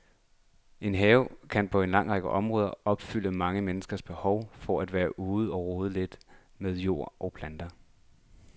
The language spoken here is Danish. En have kan på en lang række områder opfylde mange menneskers behov for at være ude og rode lidt med jord og planter.